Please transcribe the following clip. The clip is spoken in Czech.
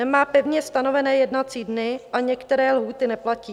Nemá pevně stanovené jednací dny a některé lhůty neplatí.